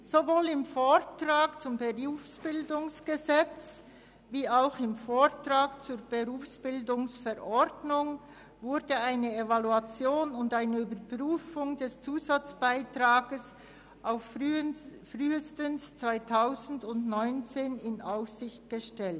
Sowohl im Vortrag zum BerG als auch im Vortrag zur BerV wurde eine Evaluation und eine Überprüfung des Zusatzbeitrags auf frühestens 2019 in Aussicht gestellt.